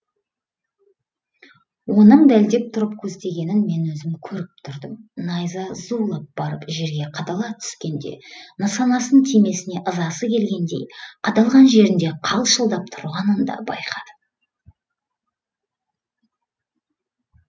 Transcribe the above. оның дәлдеп тұрып көздегенін мен өзім көріп тұрдым найза зулап барып жерге қадала түскенде нысанасын тимегеніне ызасы келгендей қадалған жерінде қалшылдап тұрғанын да байқадым